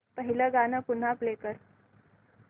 पहिलं गाणं पुन्हा प्ले कर